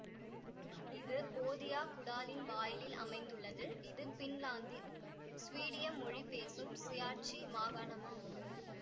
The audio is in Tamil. இது போதியா குடாலின் வாயிலில் அமைந்துள்ளது இது பின்லாந்தின் சுவீடிய மொழி பேசும் சுயாட்சி மாகாணமாகும்